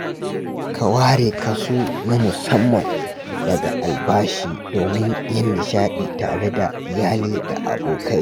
Ka ware kaso na musamman daga albashi domin yin nishaɗi tare da iyali da abokai.